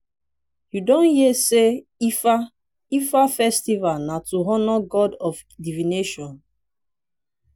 you don hear sey ifa ifa festival na to honour god of divination?